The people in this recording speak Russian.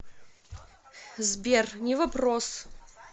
сбер не вопрос